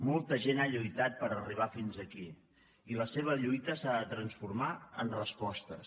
molta gent ha lluitat per arribar fins aquí i la seva lluita s’ha de transformar en respostes